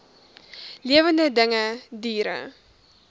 lewende dinge diere